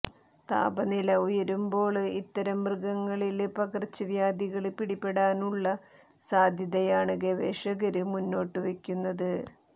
താപനില ഉയരുമ്പോള് ഇത്തരം മൃഗങ്ങളില് പകര്ച്ചവ്യാധികള് പിടിപെടാനുള്ള സാധ്യതയാണ് ഗവേഷകര് മുന്നോട്ടുവയ്ക്കുന്നത്